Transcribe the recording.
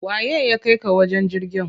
Waye ya kaika ka wajen jirgin?